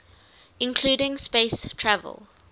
including space travel